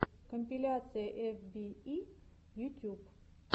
компиляция эф би и ютюб